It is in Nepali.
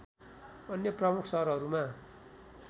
अन्य प्रमुख सहरहरूमा